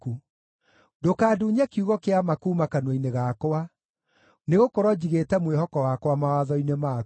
Ndũkandunye kiugo kĩa ma kuuma kanua-inĩ gakwa, nĩgũkorwo njigĩte mwĩhoko wakwa mawatho-inĩ maku.